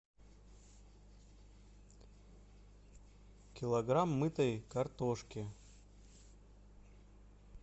килограмм мытой картошки